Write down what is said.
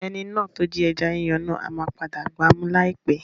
Ẹni náà tí ó jí ẹja yíyan náà ama padà gba mú láì pẹ́.